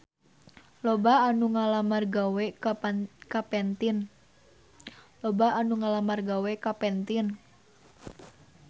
Loba anu ngalamar gawe ka Pantene